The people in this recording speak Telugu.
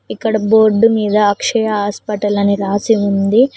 ఇక్కడ బోర్డ్ మీద అక్షయ హాస్పిటల్ అని రాసి ఉంది.